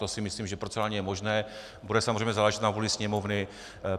To si myslím, že procedurálně je možné, bude samozřejmě záležet na vůli Sněmovny.